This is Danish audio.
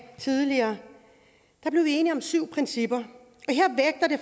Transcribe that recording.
tidligere enige om syv principper